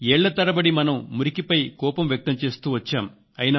ఏళ్ల తరబడి మనం మురికిపై కోపం వ్యక్తం చేస్తూ వచ్చాం